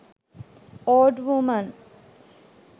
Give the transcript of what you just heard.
old woman